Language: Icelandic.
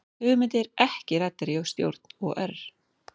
Hugmyndir ekki ræddar í stjórn OR